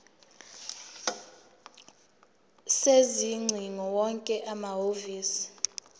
sezingcingo wonke amahhovisi